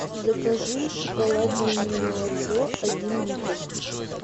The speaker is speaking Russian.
закажи шоколадное немолоко один литр